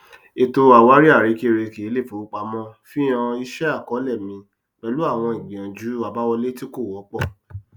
ètò àwárí àrekèrèke iléifowopamọ fi hàn ìṣe àkọọlẹ mi pẹlú àwọn ìgbìyànjú àbáwọlé tí kò wọpọ